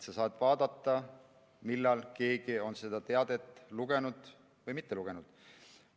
Sa saad vaadata, millal keegi on seda teadet lugenud või et ei ole lugenud.